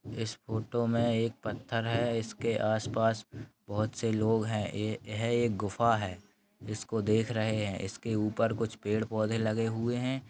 इस फोटो में एक पथर है जो उअसके आस पास बहुत से लोग है यह एक गुफा है जिसको देख रह है इसके ऊपर पेड़ पोधे लगे हुए है।